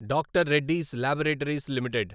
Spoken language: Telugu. doctor Reddy's laboratories limited